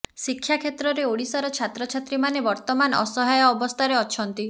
ଶିକ୍ଷା କ୍ଷେତ୍ରରେ ଓଡିଶାର ଛାତ୍ରଛାତ୍ରୀମାନେ ବର୍ତମାନ ଅସହାୟ ଅବସ୍ଥାରେ ଅଛନ୍ତି